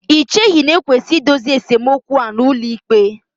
Ì cheghị na e kwesịrị idozi esemokwu a n'ụlọikpe?